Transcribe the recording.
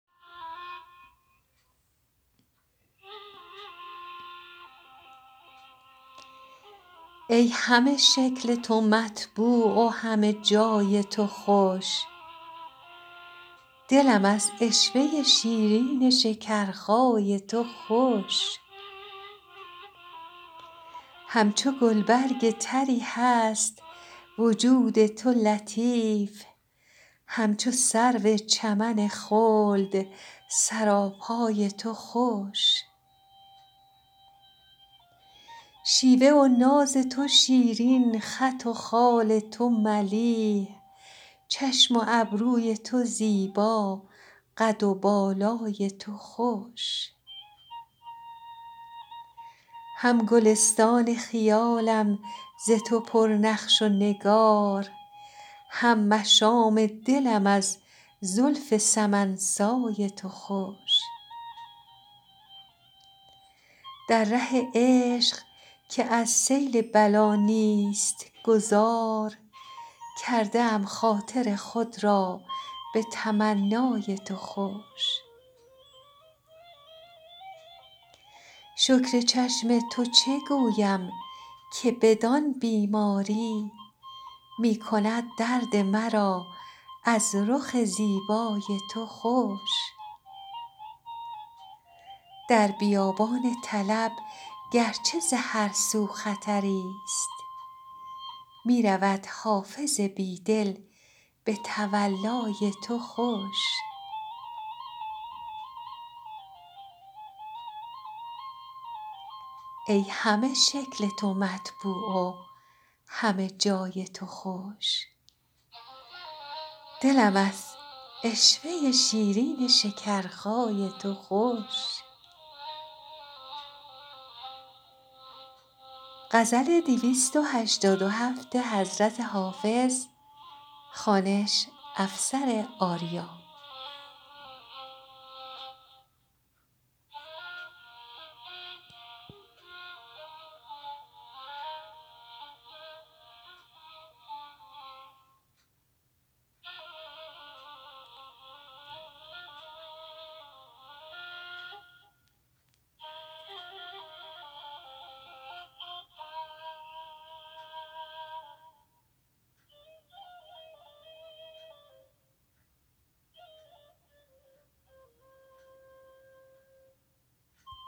ای همه شکل تو مطبوع و همه جای تو خوش دلم از عشوه شیرین شکرخای تو خوش همچو گلبرگ طری هست وجود تو لطیف همچو سرو چمن خلد سراپای تو خوش شیوه و ناز تو شیرین خط و خال تو ملیح چشم و ابروی تو زیبا قد و بالای تو خوش هم گلستان خیالم ز تو پر نقش و نگار هم مشام دلم از زلف سمن سای تو خوش در ره عشق که از سیل بلا نیست گذار کرده ام خاطر خود را به تمنای تو خوش شکر چشم تو چه گویم که بدان بیماری می کند درد مرا از رخ زیبای تو خوش در بیابان طلب گر چه ز هر سو خطری ست می رود حافظ بی دل به تولای تو خوش